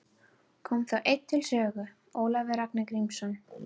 Kom þá enn til sögu Ólafur Ragnar Grímsson.